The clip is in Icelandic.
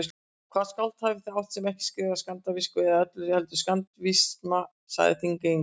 Hvaða skáld hafið þið átt, sem ekki skrifaði skandinavísku eða öllu heldur skandinavisma, sagði Þingeyingur.